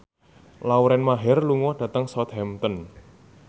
Lauren Maher lunga dhateng Southampton